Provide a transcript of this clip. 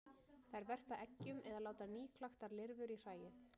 Þær verpa eggjum eða láta nýklaktar lirfur í hræið.